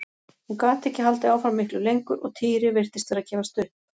Hún gat ekki haldið áfram miklu lengur og Týri virtist vera að gefast upp.